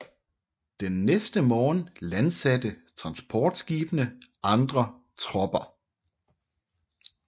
Den næste morgen landsatte transportskibene andre tropper